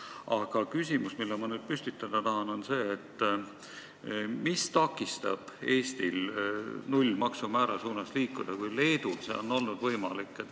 Aga küsimus, mille ma nüüd püstitada tahan, on selline: mis takistab Eestil liikuda nullmaksumäära suunas, kui Leedul on see võimalik olnud?